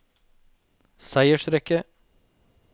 seiersrekke